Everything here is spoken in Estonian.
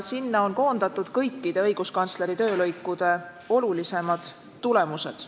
Sinna on koondatud õiguskantsleri kõikide töölõikude olulisemad tulemused.